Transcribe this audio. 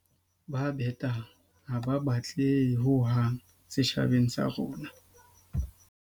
Ba betang ha ba batlehe hohang setjhabeng sa rona.